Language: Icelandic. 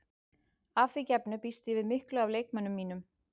Að því gefnu býst ég við miklu af leikmönnum mínum.